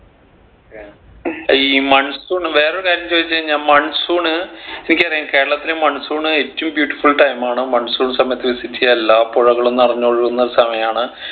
ഈ monsoon വേറൊരു കാര്യം ചോദിച്ചുകഴിഞ്ഞാ monsoon എനിക്കറിയാം കേരളത്തിൽ monsoon ഏറ്റവും beautiful time ആണ് monsoon സമയത്ത് visit എയ്യാ എല്ലാ പുഴകളും നിറഞ്ഞ് ഒഴുകുന്ന സമയാണ്